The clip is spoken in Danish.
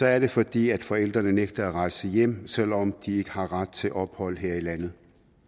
er det fordi forældrene nægter at rejse hjem selv om de ikke har ret til ophold her i landet